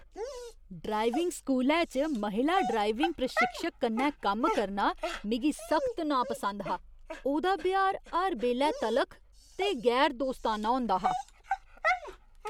Driving स्कूलै च महिला ड्राइविंग प्रशिक्षक कन्नै कम्म करना मिगी सख्त नापसंद हा। ओह्दा ब्यहार हर बेल्लै तलख ते गैर दोस्ताना होंदा हा।